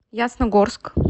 ясногорск